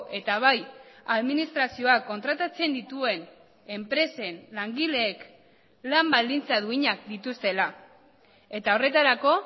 eta bai administrazioak kontratatzen dituen enpresen langileek lan baldintza duinak dituztela eta horretarako